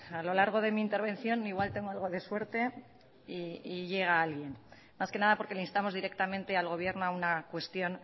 a lo largo de mi intervención igual tengo algo de suerte y llega alguien más que nada porque le instamos directamente al gobierno a una cuestión